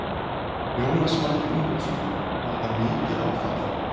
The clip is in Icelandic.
Jónas Margeir Ingólfsson: Var þetta mikið áfall?